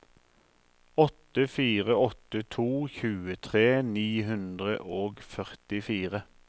åtte fire åtte to tjuetre ni hundre og førtifire